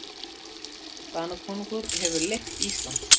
Danakonungur hefur leigt Ísland.